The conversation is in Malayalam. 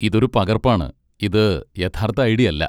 ഇതൊരു പകർപ്പാണ്, ഇത് യഥാർത്ഥ ഐ.ഡി. അല്ല.